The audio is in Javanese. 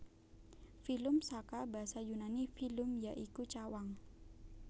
Filum saka basa Yunani phylum ya iku cawang